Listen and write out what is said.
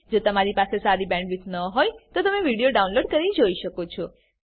જો તમારી પાસે સારી બેન્ડવિડ્થ ન હોય તો તમે વિડીયો ડાઉનલોડ કરીને જોઈ શકો છો